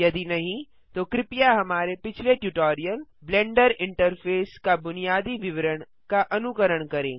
यदि नहीं तो कृपया हमारे पिछले ट्यूटोरियल ब्लेंडर इंटरफेस का बुनियादी विवरण का अनुकरण करें